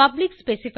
public specifier